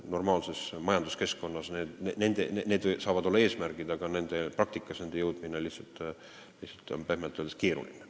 Normaalses majanduskeskkonnas saavad need olla eesmärgid, aga nende praktikasse jõudmine on pehmelt öeldes keeruline.